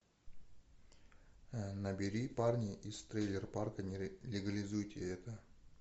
набери парни из трейлерпарка не легализуйте это